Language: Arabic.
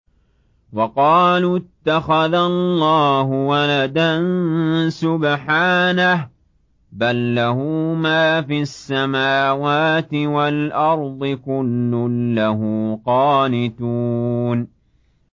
وَقَالُوا اتَّخَذَ اللَّهُ وَلَدًا ۗ سُبْحَانَهُ ۖ بَل لَّهُ مَا فِي السَّمَاوَاتِ وَالْأَرْضِ ۖ كُلٌّ لَّهُ قَانِتُونَ